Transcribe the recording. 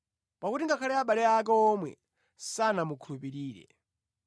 Pakuti ngakhale abale ake omwe sanamukhulupirire.